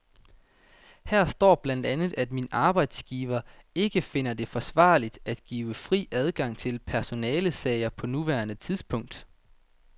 Her står blandt andet, at min arbejdsgiver ikke finder det forsvarligt at give fri adgang til personalesager på nuværende tidspunkt.